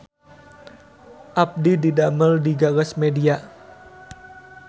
Abdi didamel di Gagas Media